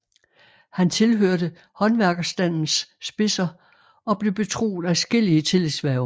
Han tilhørte håndværkerstandens spidser og blev betroet adskillige tillidshverv